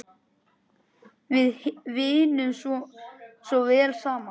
Við vinnum svo vel saman.